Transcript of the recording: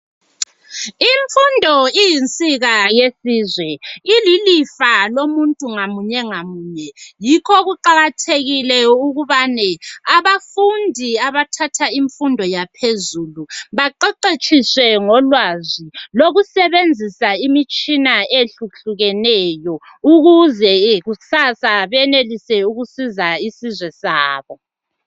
Imfundo iyinsika yesizwe. Ililifa lomuntu ngamunye ngamunye. Yikho kuqakathekile ukubane abafundi abathatha imfundo yaphezulu, baqeqetshiswe ngolwazi lokusebenzisa imitshina eyehlukehlukeneyo. Ukuze kusasa benelise ukusiza isizwe sabo.